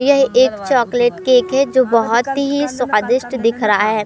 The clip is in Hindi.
ये एक चॉकलेट केक है जो बोहोत ही स्वादिष्ट दिख रहा है।